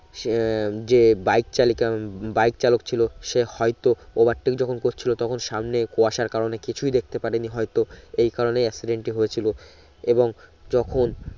সে যে বাইক চালিকা বাইক চালক ছিলো সে হয়তো overtake যখন করছিলো তখন সামনে কুয়াশার কারণে কিছুই দেখতে পারে নি হয়তো এই কারণে accident টি হয়েছিলো এবং যখন